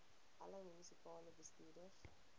alle munisipale bestuurders